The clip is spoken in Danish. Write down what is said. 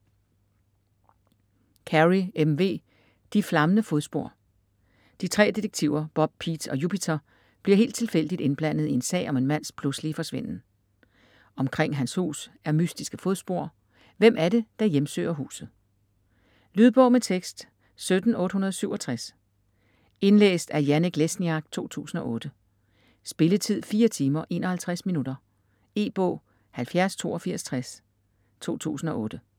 Carey, M. V.: De flammende fodspor De tre detektiver Bob, Pete og Jupiter bliver helt tilfældigt indblandet i en sag om en mands pludselige forsvinden. Omkring hans hus er mystiske fodspor, hvem er det der hjemsøger huset?. Lydbog med tekst 17867 Indlæst af Janek Lesniak, 2008. Spilletid: 4 timer, 51 minutter. E-bog 708260 2008.